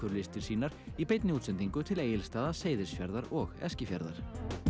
listir sínar í beinni útsendingu til Egilsstaða Seyðisfjarðar og Eskifjarðar